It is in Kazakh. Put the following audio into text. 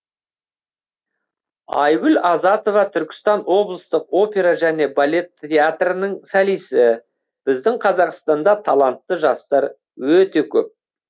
айгүл азатова түркістан облыстық опера және балет театрының солисі біздің қазақстанда талантты жастар өте көп